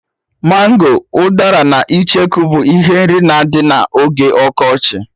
Mango, udara na icheku bụ ihe nri na-adị na oge ọkọchị